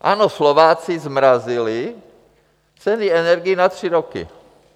Ano, Slováci zmrazili ceny energií na tři roky.